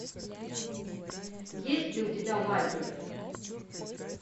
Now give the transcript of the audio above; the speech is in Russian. есть ли у тебя лагерь